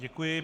Děkuji.